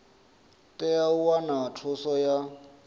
tea u wana thuso ya